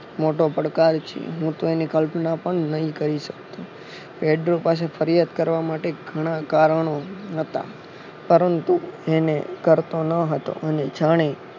મોટો પડકાર છે હું તો એની કલ્પના પણ નહિ કરી શકું પેટ્રો પાસે ફરિયાદ કરવા ઘણા કારણો હતા પરંતુ એને કરતો ન હતો અને જાણે